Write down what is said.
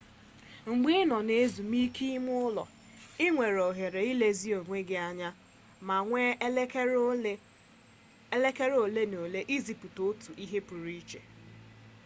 mgbe ị nọ na ezumike ime ụlọ i nwere ohere ịlezi onwe gị anya ma were elekere ole na ole isipụta otu ihe pụrụ iche